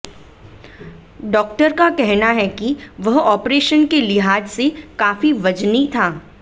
doctor का कहना है कि वह ऑपरेशन के लिहाज से काफी वजनी था